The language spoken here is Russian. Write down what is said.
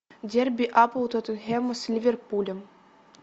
дерби апл тоттенхэма с ливерпулем